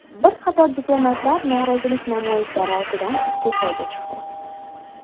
Bir qator diplomatlar norozilik namoyishlari ortidan iste’foga chiqdi.